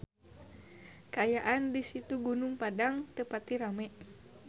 Kaayaan di Situs Gunung Padang teu pati rame